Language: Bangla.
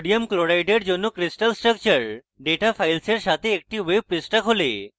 sodium chloride জন্য crystal structure ডেটা files সাথে একটি web পৃষ্ঠা খোলে